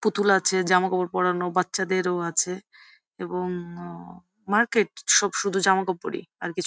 পুতুল আছে জামাকাপড় পোড়ানো বাচাদেরও আছে এবং উম মার্কেট সব শুধু জামাকাপড়ি আর কিছু না ।